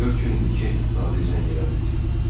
Dörd gün idi ki, Nadir zəng eləmirdi.